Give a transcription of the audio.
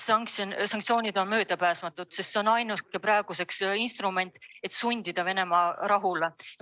Sanktsioonid on möödapääsmatud, sest need on praegu ainuke instrument, millega sundida Venemaad rahule.